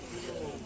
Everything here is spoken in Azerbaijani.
Onu salaq.